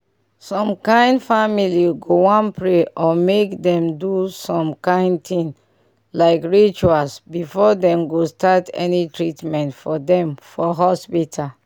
some kain family go wan pray or mk dem do some kain things like rituals before dem go start any treatment for dem for hospital